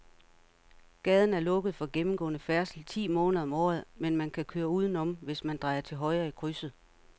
Gaden er lukket for gennemgående færdsel ti måneder om året, men man kan køre udenom, hvis man drejer til højre i krydset.